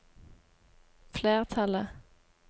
flertallet